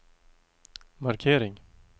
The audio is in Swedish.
markering